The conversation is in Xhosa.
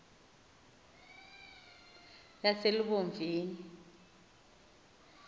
yaselubomvini